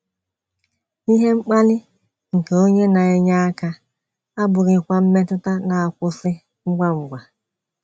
“ Ihe mkpali nke onye na - enye aka ” abụghịkwa mmetụta na - akwụsị ngwa ngwa.